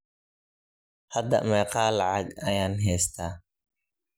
Hada meqa lacag ayan hesta.